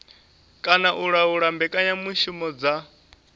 kana u laula mbekanyamushumo dza